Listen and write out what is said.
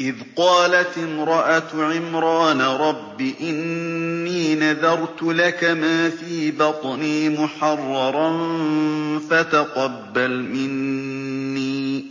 إِذْ قَالَتِ امْرَأَتُ عِمْرَانَ رَبِّ إِنِّي نَذَرْتُ لَكَ مَا فِي بَطْنِي مُحَرَّرًا فَتَقَبَّلْ مِنِّي ۖ